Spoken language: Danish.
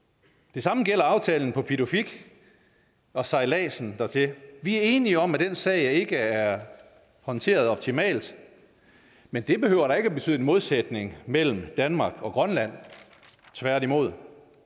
det samme gælder aftalen på pituffik og sejladsen dertil vi er enige om at den sag ikke er håndteret optimalt men det behøver da ikke betyde en modsætning mellem danmark og grønland tværtimod